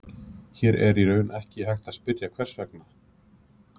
Hér er í raun ekki hægt að spyrja, hvers vegna?